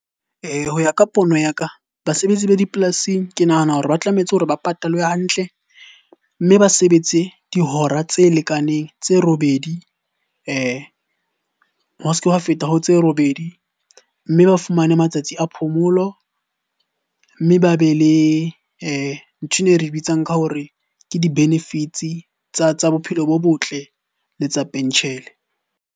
Ho ya ka pono ya ka, basebetsi ba dipolasing ke nahana hore ba tlametse hore ba patalwe hantle. Mme ba sebetse dihora tse lekaneng, tse robedi. Ho s'ke wa feta ho tse robedi, mme ba fumane matsatsi a phomolo. Mme ba be le nthwena e re bitsang ka hore ke di-benefits-e tsa bophelo bo botle le tsa pentjhele.